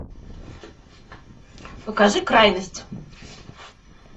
покажи крайность